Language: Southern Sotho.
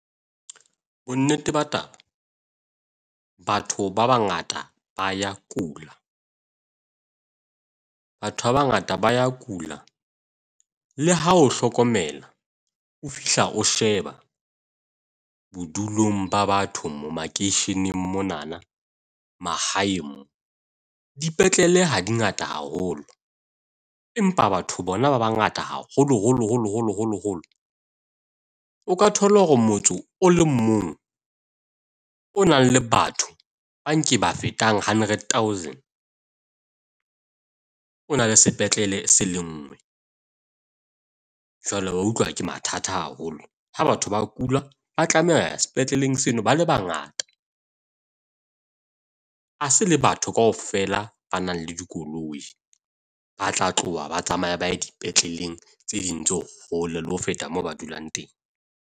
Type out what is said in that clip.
Bonnete ba taba, batho ba bangata ba ya kula, batho ba bangata ba ya kula. Le ha o hlokomela o fihla o sheba bodulong ba batho mo makeisheneng monana, mahaeng mo dipetlele ha dingata haholo. Empa batho bona ba bangata haholo holo holo holo holo holo. O ka thole hore motso o le mong o nang le batho ba nke ba fetang hundred thousand, o na le sepetlele se le nngwe. Jwale wa utlwa ke mathata haholo ha batho ba kula, ba tlameha ho ya sepetleleng seno ba le bangata. Ha se le batho kaofela ba nang le dikoloi, ba tla tloha ba tsamaya ba ye dipetleleng tse ding tse hole le ho feta moo ba dulang teng.